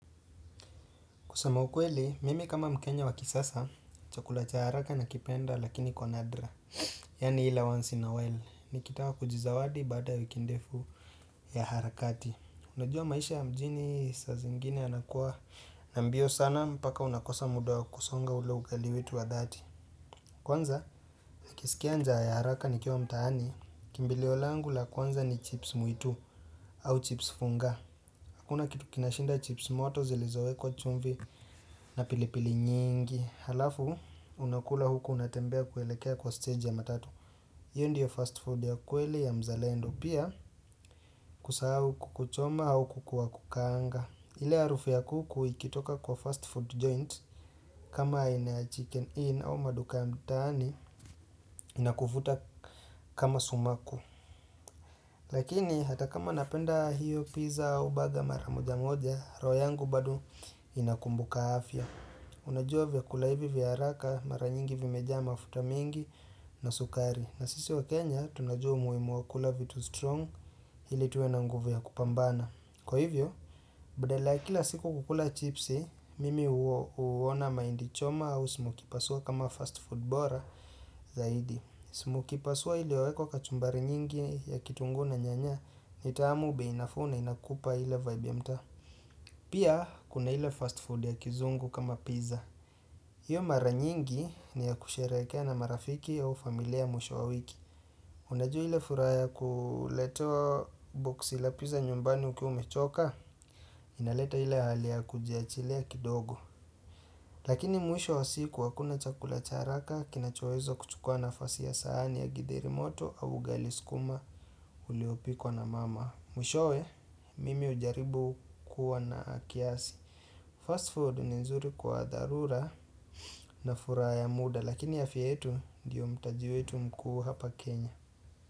Kusema ukweli, mimi kama mkenya wa kisasa, chakula cha haraka na kipenda lakini kwa nadra. Yaani ile once in a while, nikitaka kujizawadi baada wiki ndefu ya harakati. Unajua maisha ya mjini saa zingine yanakuwa na mbio sana, mpaka unakosa muda wa kusonga ule ugali wetu wa dhati. Kwanza, nakisikia njaa ya haraka nikiwa mtaani, kimbilio langu la kwanza ni chips mwitu au chips funga. Hakuna kitu kinashinda chips moto zilizowekwa chumvi na pilipili nyingi Halafu, unakula huku unatembea kuelekea kwa stage ya matatu Iyo ndiyo fast food ya kweli ya mzalendo pia kusahau kuku choma au kuku wa kukaanga ile harufu ya kuku ikitoka kwa fast food joint kama aina ya chicken inn au maduka ya mtaani inakuvuta kama sumaku Lakini hata kama napenda hiyo pizza au baga maramoja mwoja roho yangu badu inakumbuka afya Unajua vya kula hivi vya haraka mara nyingi vimeja mafuta mingi na sukari na sisi wa Kenya tunajua umuhimu wa kula vitu strong ili tuwe na nguvu ya kupambana Kwa hivyo, badala kila siku kukula chipsi, mimi huona maindi choma au smokie pasua kama fast food bora zaidi smokie pasua iliyowekwa kachumbari nyingi ya kitunguu na nyanya ni tamu bei nafuu na inakupa ili vibe ya mta Pia kuna ile fast food ya kizungu kama pizza Iyo mara nyingi ni ya kusherekea na marafiki au familia mwisho wa wiki Unajua ile furaha kuletewa box la pizza nyumbani ukiwa umechoka inaleta ile hali ya kujiachilia kidogo Lakini mwisho wa siku hakuna chakula cha haraka Kinachowezo kuchukua nafasi ya sahani ya githeri moto au ugali sukuma uliopikwa na mama Mwishowe, mimi hujaribu kuwa na kiasi Fast food ni nzuri kwa dharura na furaha ya muda lakini afya yetu ndiyo mtaji wetu mkuu hapa Kenya.